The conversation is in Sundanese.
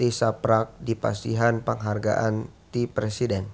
tisaprak dipasihan panghargaan ti Presiden